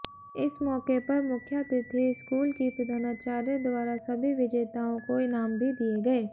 इस मौके पर मुख्यातिथि स्कूल की प्रधानाचार्य द्वारा सभी विजेताओं को इनाम भी दिए गए